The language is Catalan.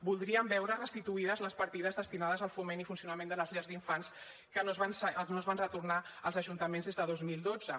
voldríem veure restituïdes les partides destinades al foment i funcionament de les llars d’infants que no es van retornar als ajuntaments des de dos mil dotze